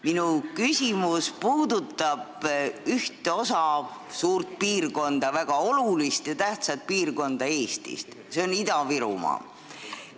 Minu küsimus puudutab ühte suurt piirkonda, väga olulist ja tähtsat piirkonda Eestis, see on Ida-Virumaa.